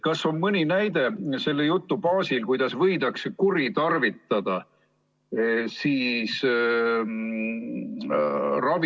Kas on mõni näide selle jutu baasil, kuidas võidakse ravivõimalusi kuritarvitada?